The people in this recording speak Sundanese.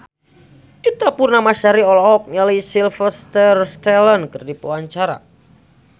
Ita Purnamasari olohok ningali Sylvester Stallone keur diwawancara